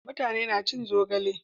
mutane na cin zogale